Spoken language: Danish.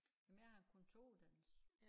Men jeg har kontoruddannelse